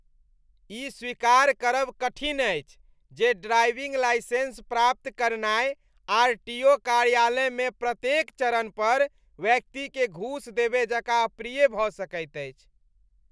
ई स्वीकार करब कठिन अछि जे ड्राइविंग लाइसेंस प्राप्त करनाय आरटीओ कार्यालयमे प्रत्येक चरण पर व्यक्तिकेँ घूस देबय जकाँ अप्रिय भऽ सकैत अछि।